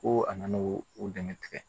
Ko a nana o dɛmɛ tigɛ